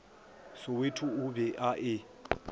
soweto o be a e